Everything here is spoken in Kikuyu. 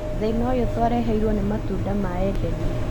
Thĩna ũyũ twareheirwo nĩ matunda ma edeni